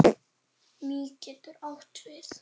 Mý getur átt við